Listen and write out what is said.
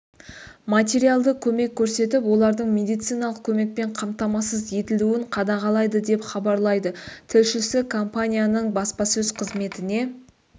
материалды көмек көрсетіп олардың медициналық көмекпен қамтамасыз етілуін қадағалайды деп хабарлайды тілшісі компанияның баспасөз қызметіне